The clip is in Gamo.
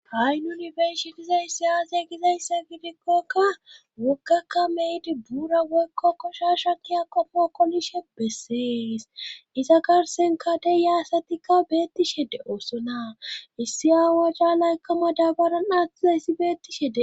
ha7inyunifershi dizayssi aase gizayssa gidikkokka woggakka meydi buura woykko koshasha kiya qomo kolishe bessees iza karsenkadey yaasatikka beettishe de7oosona issi aawaca laykama dabaran atizayssi beettishe de